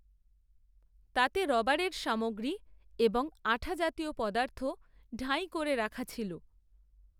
তাতে রবারের সামগ্রী, এবং, আঠা জাতীয় পদার্থ, ডাঁই, করে রাখা ছিল